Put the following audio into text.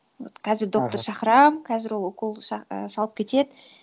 вот қазір доктор шақырамын қазір ол укол і салып кетеді